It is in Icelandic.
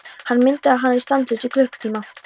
Hann myndaði hana stanslaust í klukkutíma.